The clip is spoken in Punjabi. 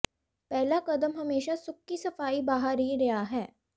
ਪਹਿਲਾ ਕਦਮ ਹਮੇਸ਼ਾ ਸੁੱਕੀ ਸਫਾਈ ਬਾਹਰ ਹੀ ਰਿਹਾ ਹੈ